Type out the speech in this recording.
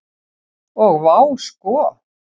Og vá sko.